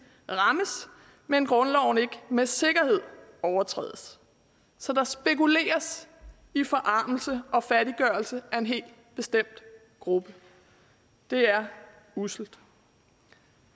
rammes men grundloven ikke med sikkerhed overtrædes så der spekuleres i forarmelse og fattiggørelse af en helt bestemt gruppe det er usselt